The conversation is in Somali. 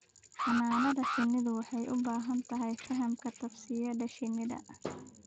Xannaanada shinnidu waxay u baahan tahay fahamka tabsiyada shinnida.